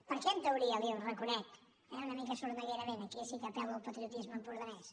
per què en teoria li hi reconec eh una mica sorneguerament aquí sí que apel·lo al patriotisme empordanès